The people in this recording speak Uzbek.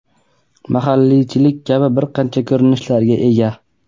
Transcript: mahalliychilik kabi bir qancha ko‘rinishlarga ega.